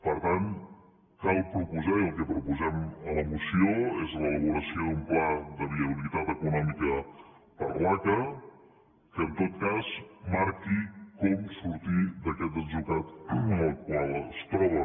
per tant cal proposar i el que proposem a la moció és l’elaboració d’un pla de viabilitat econòmica per a l’aca que en tot cas marqui com sortir d’aquest atzucac en el qual es troba